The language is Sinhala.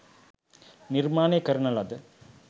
නිර්මාණය කරන ලද